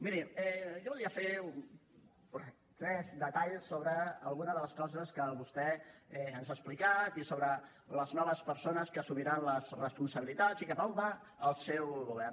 miri jo volia fer tres detalls sobre alguna de les coses que vostè ens ha explicat i sobre les noves persones que assumiran les responsabilitats i cap a on va el seu govern